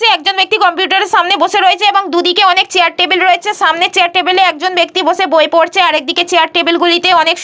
একজন ব্যক্তি কম্পিউটার -এর সামনে বসে রয়েছে। এবং দুদিকে অনেক চেয়ার টেবিল রয়েছে। সামনের চেয়ার টেবিলে একজন ব্যক্তি বসে বই পড়ছে। আর একদিকের চেয়ার টেবিল গুলিতে অনেক--